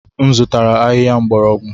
M zụtara ahịhịa mgbọrọgwụ.